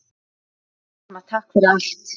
Elsku mamma. takk fyrir allt.